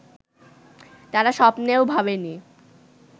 তারা স্বপ্নেও ভাবেনি